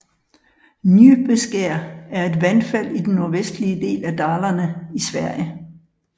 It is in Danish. Njupeskär er et vandfald i den nordvestlige del af Dalarna i Sverige